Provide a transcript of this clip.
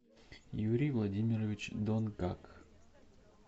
юрий владимирович донгак